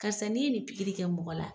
Karisa nin ye nin pikiri kɛ mɔgɔ la